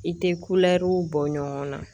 I tɛ kulɛriw bɔ ɲɔgɔn na